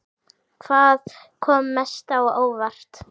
Hvað kom mest á óvart?